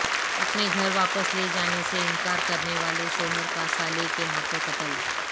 اپنے گھر واپس لے جانے سے انکار کرنے والے شوہر کا سالے کے ہاتھوں قتل